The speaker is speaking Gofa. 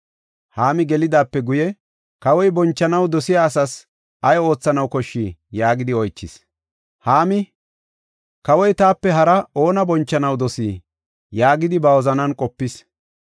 Haami gelidaape guye kawoy, “Kawoy bonchanaw dosiya asas ay oothanaw koshshii?” yaagidi oychis. Haami, “Kawoy taape haraa oona bonchanaw dosii?” yaagidi ba wozanan qopis.